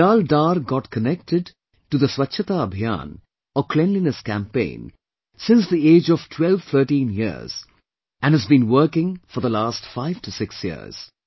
Bilal Dar got connected to the 'Swachhata Abhiyan' or Cleanliness Campaign since the age of 1213 years and has been working for the last 5 to 6 years